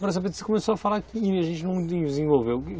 Agora você começou a falar que a gente não desenvolveu.